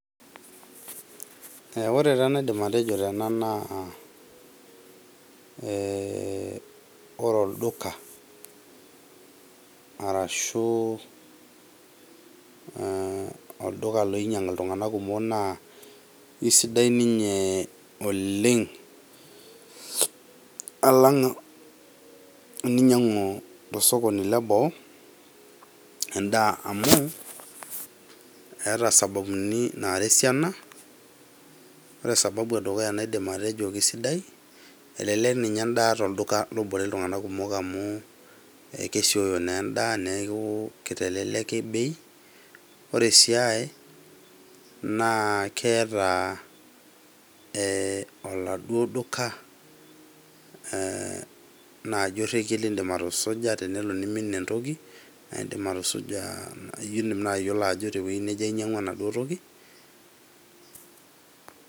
Ore taa enaidim atejo tena naa ore olduka arashuu olduka oinyiang iltunganak kumok naa aisidai ninye oleng alang eninyiangu tosokoni leboo endaa amu, eeta isababuni naara esiana. Ore sababu edukuya naidim atejo esidai, elelek nyinye endaa olduka lobore iltunganak kumok amu kesioyo naa enda amu keiteleleki bei. Ore sia ai naa akeeta eeh oladuo duka naaji orekie lindim atusuja tenelo neimin entoki. Naa indim atusuja indim naaji atayiolo ajo tewueji neje anyiangua enaduo toki.